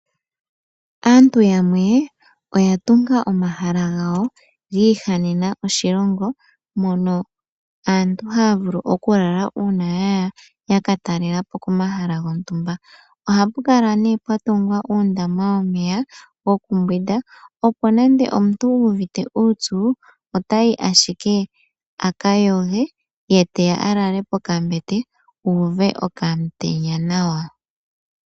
Aantu yamwe oya tunga omahala gawo giihanena oshilongo mono aantu haya vulu oku lala uuna ya ya yaka talela po komahala gontumba. Ohapu kala pwa tungwa uundama womeya wokumbwindwa, opo nande omuntu wuuvitte uupyu oatyi ashike aka yoge ye teya a lale pokambete uuve okamutenya nawa.